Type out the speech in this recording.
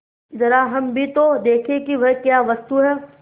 जरा हम भी तो देखें कि वह क्या वस्तु है